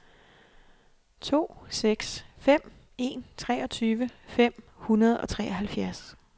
to seks fem en treogtyve fem hundrede og treoghalvfjerds